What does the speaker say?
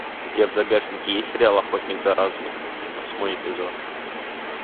у тебя в загашнике есть сериал охотник за разумом восьмой эпизод